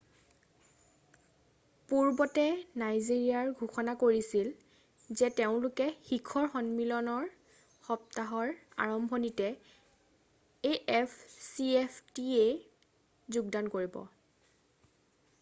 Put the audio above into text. পূৰ্বতে নাইজেৰিয়াই ঘোষণা কৰিছিল যে তেওঁলোকে শিখৰ সন্মিলনৰ সপ্তাহৰ আৰম্ভণিতে afcftaত যোগদান কৰিব।